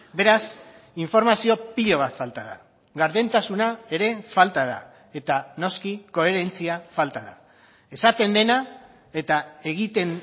beraz informazio pilo bat falta da gardentasuna ere falta da eta noski koherentzia falta da esaten dena eta egiten